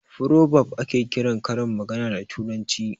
"Frobab" ake kiran karin magana da turanci